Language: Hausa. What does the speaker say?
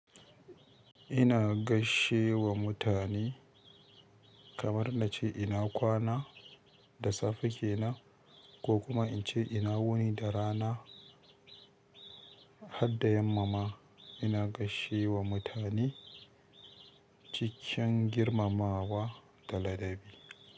Ina gaishe wa mutane kamar na ce ina kwana da safe kenan ko kuma in ce ina wuni da rana. Har da yamma ma ina gaishe da mutane cikin girmamawa da ladabi.